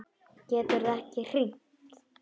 Geturðu ekki hringt?